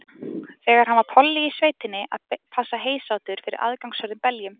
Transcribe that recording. Þegar hann var polli í sveitinni að passa heysátur fyrir aðgangshörðum beljum.